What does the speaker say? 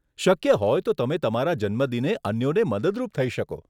શક્ય હોય તો તમે તમારા જન્મદિને અન્યોને મદદરૂપ થઇ શકો.